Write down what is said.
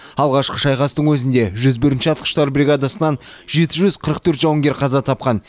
алғашқы шайқастың өзінде жүз бірінші атқыштар бригадасынан жеті жүз қырық төрт жауынгер қаза тапқан